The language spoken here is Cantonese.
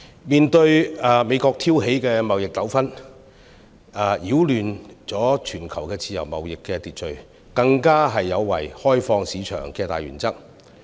美國挑起的貿易糾紛擾亂了全球自由貿易的秩序，更有違開放市場的大原則。